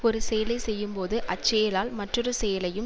ஒரு செயலை செய்யும் போது அச் செயலால் மற்றொரு செயலையும்